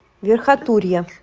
верхотурья